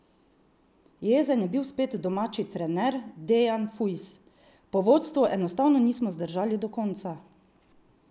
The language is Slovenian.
Jezen je bil spet domači trener Dejan Fujs: "Po vodstvu enostavno nismo zdržali do konca.